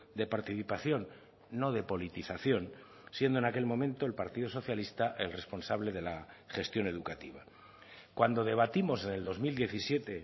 de participación no de politización siendo en aquel momento el partido socialista el responsable de la gestión educativa cuando debatimos en el dos mil diecisiete